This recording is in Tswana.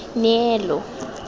neelo